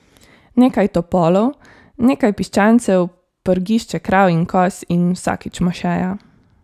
Nekaj topolov, nekaj piščancev, prgišče krav in koz in vsakič mošeja.